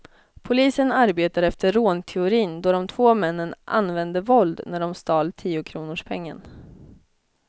Polisen arbetar efter rånteorin då de två männen använde våld när de stal tiokronorspengen.